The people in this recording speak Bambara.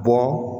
Bɔ